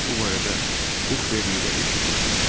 Biz bu barədə Hukverlidə eşitmişik,